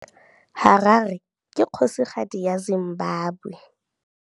Harare ke kgosigadi ya Zimbabwe.